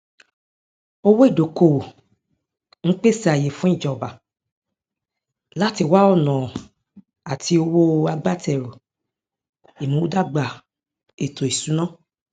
owó ìdókòówò ń pèsè àáyè fún ìjọba láti wá ọnà àti owó agbátẹrù ìmúdàgbà ètòìsúná